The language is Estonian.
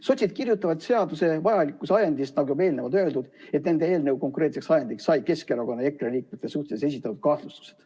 Sotsid kirjutavad seaduse vajalikkuse ajendist, nagu juba eelnevalt öeldud, et nende eelnõu konkreetseks ajendiks said Keskerakonna ja EKRE liikmete suhtes esitatud kahtlustused.